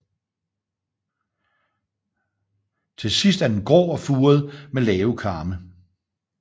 Til sidst er den grå og furet med lave kamme